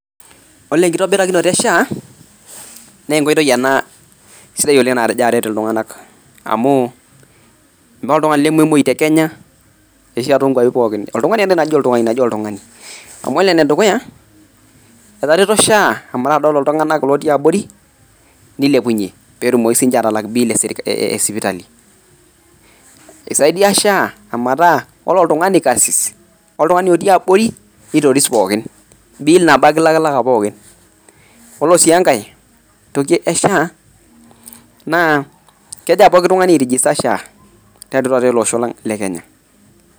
ore enkitobirakinota e sha, naa enkoitoi ena sidai oleng natejo aret iltunganak amuu meeta oltungani lememoyu te kenya, arashu akeyie toonkuapi pookin, olting'ani akeyie naji oltu oltung'ani. amu ore enedukuya etareto SHA mpaka dol iltung'anak otii abore neilepunye, peetumoki sii ninche aatalak bill eser e sipitali. eisaidia SHA ometaa ore oltung'ani karsis oltung'ani otii abori neitoris pookin bill nabo ake ilakilaka pookin. ore sii enkae toki e SHA, naa kegira pooki tung'ani ai register SHA tiatua taata ele osho lang le kenya.